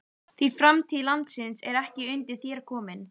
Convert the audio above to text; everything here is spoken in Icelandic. Því framtíð landsins er ekki undir þér komin.